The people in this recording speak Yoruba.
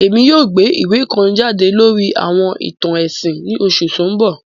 Èmi yoo gbé ìwé kan jade lórí àwọn ìtàn ẹ̀sìn ni oṣù to n bọ